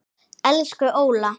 Elsku Óla.